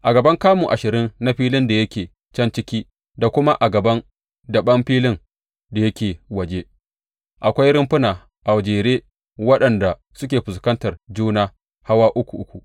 A gaban kamu ashirin na filin da yake can ciki da kuma a gaban daɓen filin da yake waje, akwai rumfuna a jere waɗanda suke fuskantar juna hawa uku uku.